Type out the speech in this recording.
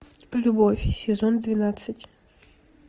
любовь сезон двенадцать